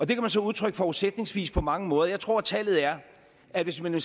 kan man så udtrykke forudsætningsvis på mange måder jeg tror at tallet er at hvis man